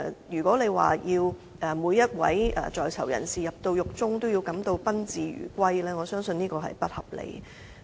如果要每一位在囚人士在獄中，都感到賓至如歸，我相信這是不合理的。